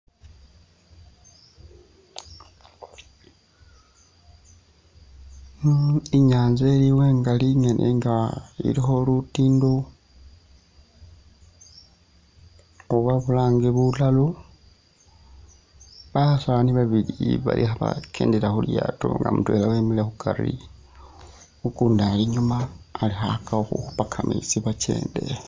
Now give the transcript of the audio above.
Inyaanza iliwo ingaali nga iliikho lutiindo oba bulange bulalo, basaani babiili nga bali kho'bakendela khulyaato nga mutweela wemile khukari ukundi ali inyuma ali khakhakakha khukhuupa kameetsi bakyende batse.